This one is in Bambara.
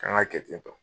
K'an ka kɛ ten tɔ